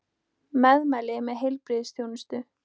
Meðmæli með heilbrigðisþjónustu